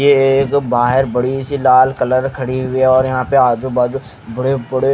यह एक बहार बड़ी सी लाला कलर खड़ी हुई है और आजु बाजु बड़े बड़े--